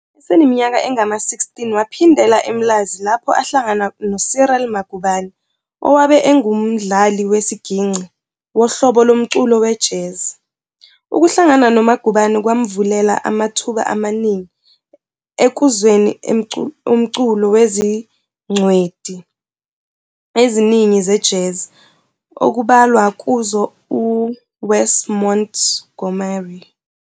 Eseniminyaka engama-16 waphindela eMlazi lapho ahlangana noCyril Magubane owabe engumdlali wesigingci wohlobo lomculo we-Jazz. Ukuhlangana noMagubane kwamvulela amathuba amaningi ekuzweni umculo wezingcweti eziningi ze-Jazz okubalwa kuzo u-Wes Montgomery.